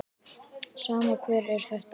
Sama hver þetta er.